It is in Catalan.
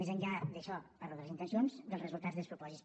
més enllà d’això parlo de les intencions dels resultats despropòsits